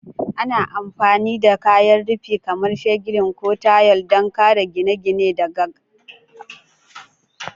Ana amfani da kayan rufi kamar shingle ko tayal don kare gine-gine daga abubuwan yanayi.